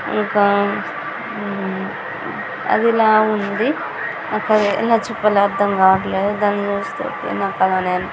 ఇంకా హ్మ అది లా ఉంది. అక్కడ ఎలా చెప్పాలో అర్ధం కావట్లేదు దాన్ని చుస్తే నాకు అలానే--